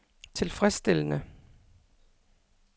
tilfredsstillende